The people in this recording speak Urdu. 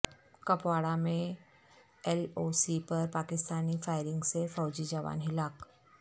کپواڑہ میں ایل او سی پر پاکستانی فائرنگ سے فوجی جوان ہلاک